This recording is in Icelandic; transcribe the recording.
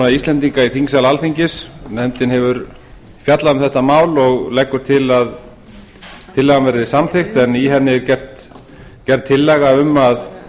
íslendinga í þingsal alþingis nefndin hefur fjallað um þetta mál og leggur til að tillagan verði samþykkt en í henni er gerð tillaga um að